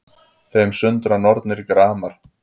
Þeim sundra nornir gramar